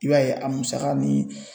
I b'a ye a musaka ni